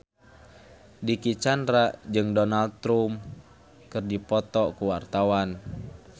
Dicky Chandra jeung Donald Trump keur dipoto ku wartawan